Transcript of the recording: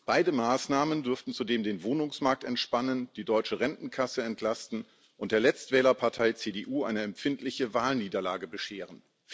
Beide Maßnahmen dürften zudem den Wohnungsmarkt entspannen, die deutsche Rentenkasse entlasten und der Letztwählerpartei CDU eine empfindliche Wahlniederlage bescheren.